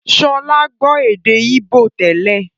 Sọlá gbọ́ èdè íbò tẹ́lẹ̀